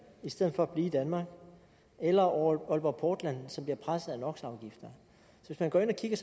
i stedet for at blive i danmark eller aalborg portland som bliver presset af no hvis man går ind og kigger